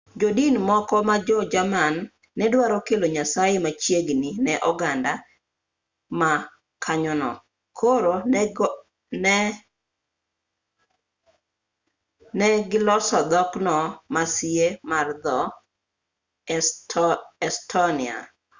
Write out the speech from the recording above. jodin moko ma jo-jerman ne dwaro kelo nyasaye machiegi ne oganda ma kanyono koro ne goloso dhokno ma sie mar dho-estonia